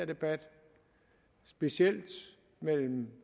debat specielt mellem